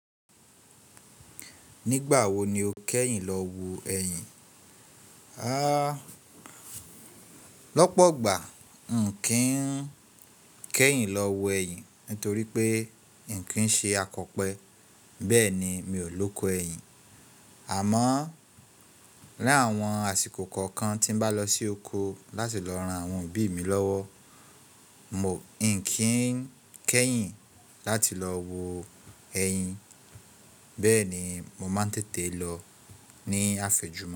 Nígbà wo ni o kẹ́yìn lọ wo ẹyin? A, lọ́pọ̀ ọgbà, n kì ń kẹ́yìn lọ wo ẹyin torí pé, n kì ń ṣe akọ̀pẹ. Bẹ́ẹ̀ ni, mi ò lóko ẹyin. Àmọ́, láàwọn àsìkò kọ̀ọ̀kan tí bá lọ sí oko láti lọ ran àwọn òbí mi lọ́wọ́, n kì ń kẹ́yìn láti lọ wo ẹyin. Bẹ́ẹ̀ni, mo máa ń tètè lọ ní àféjù.